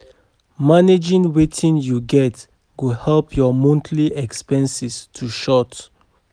Managing wetin yu get go help yur monthly expenses to short